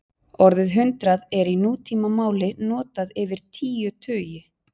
Orðið hundrað er í nútímamáli notað yfir tíu tugi.